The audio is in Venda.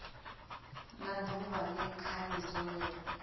nga duvha le khaidzo yo